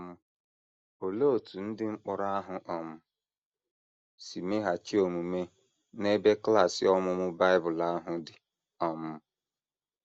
um Olee otú ndị mkpọrọ ahụ um si meghachi omume n’ebe klas ọmụmụ Bible ahụ dị um?